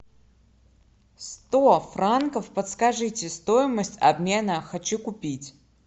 сто франков подскажите стоимость обмена хочу купить